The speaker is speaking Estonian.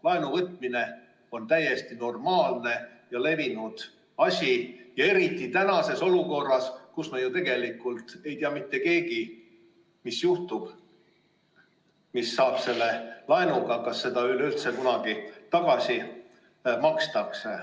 Laenuvõtmine on täiesti normaalne ja levinud asi eriti tänases olukorras, kus me ju tegelikult ei tea mitte keegi, mis juhtub, mis sellest laenust saab ja kas seda üleüldse kunagi tagasi makstakse.